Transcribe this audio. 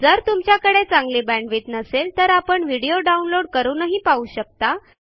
जर तुमच्याकडे चांगली बॅण्डविड्थ नसेल तर आपण व्हिडिओ डाउनलोड करूनही पाहू शकता